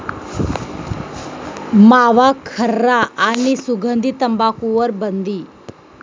मावा, खर्रा आणि सुगंधी तंबाखूवर बंदी